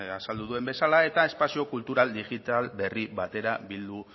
azaldu duen bezala eta espazio kultural digital berri batera bildu